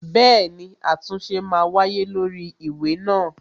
Bẹẹni, àtúnṣe ma wáyé lórí ìwé náà